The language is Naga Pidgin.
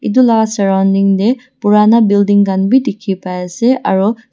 edu la surrounding tae purana building khan bi dikhi paiase aru--